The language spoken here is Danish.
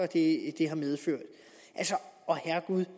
det har medført og herregud…